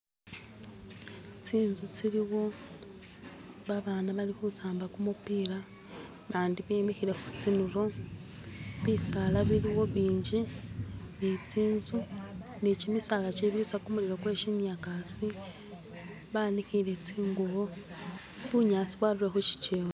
tsinzu tsiliwo babana bali khusamba kumupila bandi bemikhile khutsinulo bisaala biliwo bingi ni tsinzu ni kimisaala tsibirisa kumulilo kweshinyakasi baanikhile tsingubo bunyasi bwarurile kushikyewa